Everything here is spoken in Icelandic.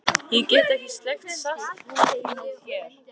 Ég get ekki sleikt salta húð þína hér.